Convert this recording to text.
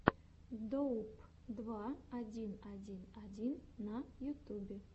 доуп два один один один на ютюбе